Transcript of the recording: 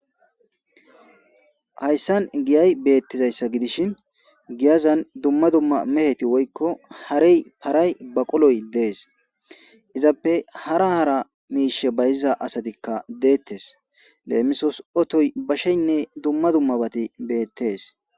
Hayssan giyay beetishin giyazan dumma dumma meheti woyiko hareyi baquloyi desi izape hara hara miishebayiziza asati detesi lemisosi otoyi basheyi duma duma bati beetes.